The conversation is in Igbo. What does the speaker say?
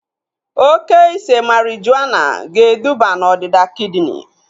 Oke ise marijuana ga eduba na ọdịda kidini